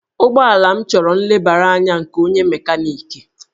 Ụgbọala m chọrọ nlebara anya nke onye mekaniki